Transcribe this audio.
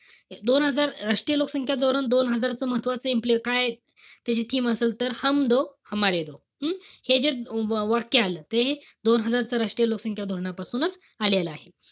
दोन हजार राष्ट्रीय लोकसंख्या धोरण दोन हजारच महत्वाचंय. काय ते जे scheme असेल तर हम्म? हे जे वाक्य आलं त हे दोन हजारच राष्ट्रीय लोकसंख्या धोरणापासूनच आलेलं आहे.